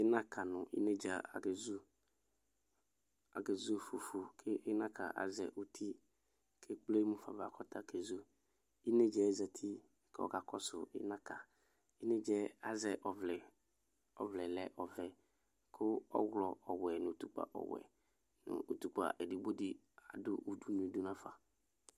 Ɩnaka nʋ inedzǝ akezu Akezu fufu kʋ ɩnaka azɛ uti kʋ ekple mu fa ava kezu Inedzǝ yɛ zati kʋ ɔkakɔsʋ ɩnaka Inedzǝ yɛ azɛ ɔvlɛ Ɔvlɛ yɛ lɛ ɔvɛ kʋ ɔɣlɔ ɔwɛ nʋ utukpǝ ɔwɛ nʋ utukpǝ edigbo dɩ adʋ udunu yɛ dʋ nafa